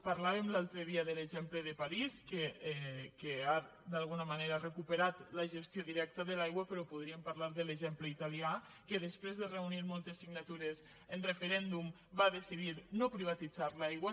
parlàvem l’altre dia de l’exemple de parís que ha d’alguna manera recuperat la gestió directa de l’aigua però podríem parlar de l’exemple italià que després de reunir moltes signatures en referèndum va decidir no privatitzar l’aigua